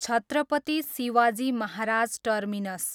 Chhatrapati Shivaji Maharaj terminus